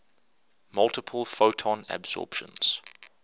multiple photon absorptions